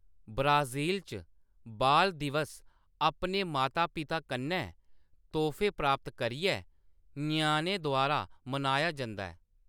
Brazil च, बाल दिवस अपने माता-पिता कन्नै तोह्‌‌फे प्राप्त करियै ञ्याणें द्वारा मनाया जंदा ऐ।